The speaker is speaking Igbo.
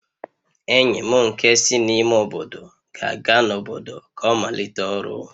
Enyi m nke si n'ime obodo ga-aga n'obodo ka ọ malite ọrụ